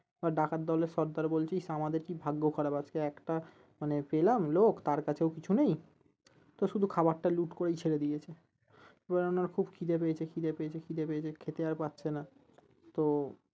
এবার ডাকাত দলের সর্দার বলছে ইশ আমাদের কি ভাগ্য খারাপ আজকে একটা মানে পেলাম লোক তার কাছেও কিছু নেই তো শুধু খাওয়ারটা লুট করেই ছেড়ে দিয়েছে এবার উনার খুব খিদে পেয়েছে খিদে পেয়েছে খিদে পেয়েছে খেতে আর পারছে না তো